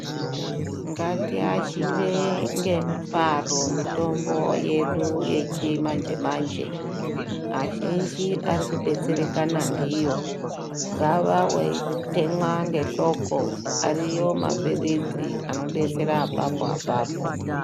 Ngati ashire nge mufaro mitombo yedu yechi manje manje azhinji ari ku betserekana ndiyo ungava wei temwa ne dhloko ariko ma pirizi ano betsera apapo apapo.